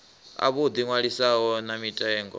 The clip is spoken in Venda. a vhuḓi ṅwalisi na mitengo